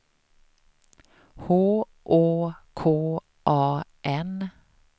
H Å K A N